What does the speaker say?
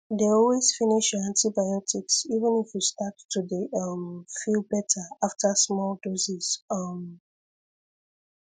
dey always finish your antibiotics even if you start to dey um feel better after small doses um